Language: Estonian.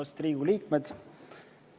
Austatud Riigikogu liikmed!